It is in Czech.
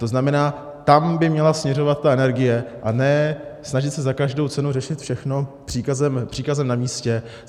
To znamená, tam by měla směřovat ta energie, a ne se snažit za každou cenu řešit všechno příkazem na místě.